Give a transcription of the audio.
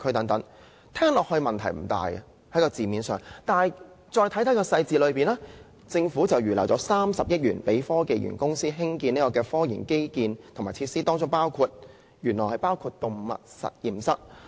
"字面上似乎問題不大，但再看看當中的細節，政府預留了30億元予科技園公司興建科研基建和設施，當中原來包括了動物實驗室。